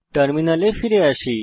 টার্মিনালে ফিরে আসি